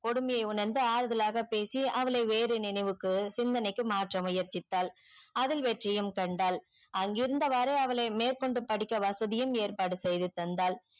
கொடுமையே உணர்ந்து ஆறுதலாக பேசி அவளை வேறு நினைவுக்கு சிந்தனைக்கு மாற்ற முயற்சித்தால் அதில் வெற்றியும் கண்டால் அங்கே இருந்தவாறு அவளை மேற்கொண்டு படிக்க வசதியும் ஏற்பாடு செய்து தந்தார்